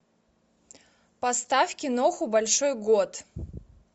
поставь киноху большой год